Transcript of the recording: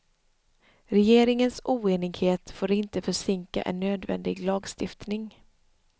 Regeringens oenighet får inte försinka en nödvändig lagstiftning.